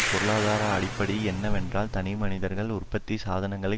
பொருளாதார அடிப்படை என்னவென்றால் தனிமனிதர்கள் உற்பத்தி சாதனங்களை